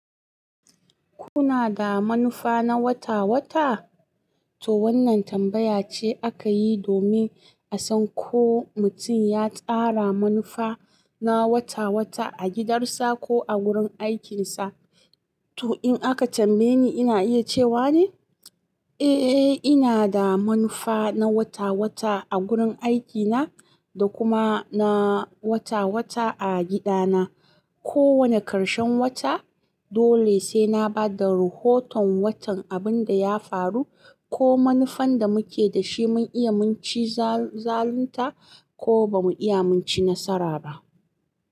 Kuna da manufa na wata-wata? To wannan tambaya ce aka yi domin a san ko mutum ya tsara manufa na wata-wata a gidansa ko a wurin aikinsa. To in aka tambaye ni ina iya cewa ne, eh ina da manufa na wata-wata a gurin aikina da kuma na wata-wata a gidana. Ko wane ƙarshen wata dole sai na ba da rahoton watan abin da ya faru ko manufan da muke da shi mun iya mun ci zalunta ko ba mu iya mun ci nasara ba.